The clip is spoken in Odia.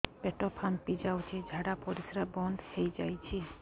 ପେଟ ଫାମ୍ପି ଯାଇଛି ଝାଡ଼ା ପରିସ୍ରା ବନ୍ଦ ହେଇଯାଇଛି